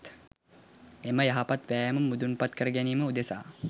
එම යහපත් වෑයම මුදුන්පත් කරගැනීම උදෙසා